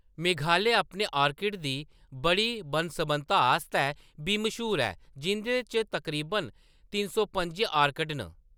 मेघालय अपने ऑर्किड दी बड़ी बन्न-सबन्नता आस्तै बी मश्हूर ऐ, जिंʼदे च तकरीबन तिन सौ पंजी ऑर्किड न।